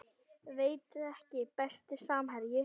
Veit ekki Besti samherji?